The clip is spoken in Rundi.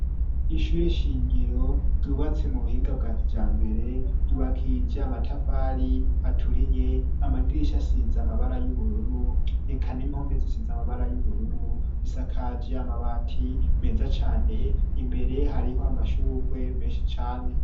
Ishure shingiro ryubatse mu buhinga bwakijambere ryubakishije amatafari aturiye amadirisha asiza amabara y'ubururu eka n'impome zisiza amabara y'ubururu isakaje amabati meza cane imbere hariho amashugwe meshi cane.